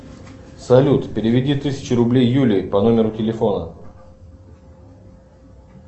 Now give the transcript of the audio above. салют переведи тысячу рублей юлии по номеру телефона